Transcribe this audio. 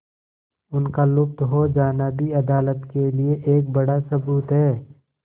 उनका लुप्त हो जाना भी अदालत के लिए एक बड़ा सबूत है